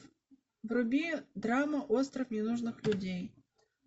вруби драму остров ненужных людей